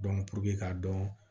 k'a dɔn